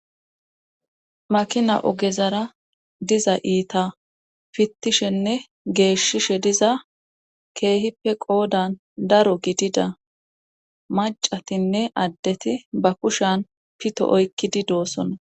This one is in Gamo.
makina ogezara diza iita fittishenne geeshshishe diza keehippe qoodan daro gidida macatinne addeti ba kushan pito oykkidi doossona